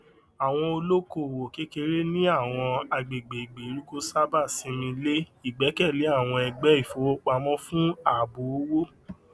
àwọn olókoòwò kékeré ní àwọn àgbègbè ìgbèríko sábà simi lé igbẹkẹlé àwọn ẹgbẹ ìfowopamọ fún ààbò owó